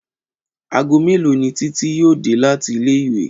Aago mélòó ni Títí yóò dé láti ilé ìwé?